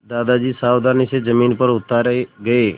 दादाजी सावधानी से ज़मीन पर उतारे गए